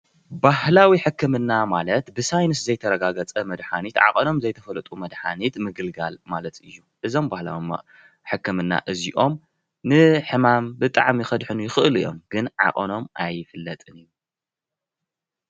ባህላዊ ሕክምና ማለት ብሳይንስ ዘይተረጋገፀ መድሓኒት ዓቀኖም ዘይተፈለጡ መድሓኒት ምግልጋል ማለት እዩ። እዞም ባህላዊ ሕክምና እዚኦም ንሕማም ብጣዕሚ ከድሕኑ ይኸእሉ እዮም። ግን ዓቀኖም አይፍለጥን እዩ።